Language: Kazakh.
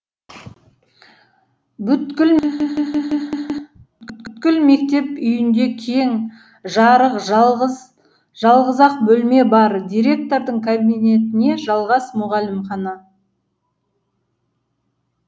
бүткіл мектеп үйінде кең жарық жалғыз ақ бөлме бар директордың кабинетіне жалғас мұғалімхана